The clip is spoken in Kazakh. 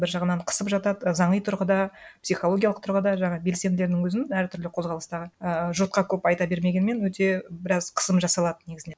бір жағынан қысып жатады заңи тұрғыда психологиядық тұрғыда жаңа белсенділердің өзін әр түрлі қозғалыстағы і жұртқа көп айта бермегенмен өте біраз қысым жасалады негізінен